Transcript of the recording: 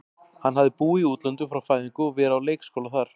Hann hafði búið í útlöndum frá fæðingu og verið á leikskóla þar.